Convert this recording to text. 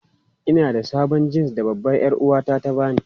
Ina da sabon jins da babbar 'yar'uwata ta ba ni.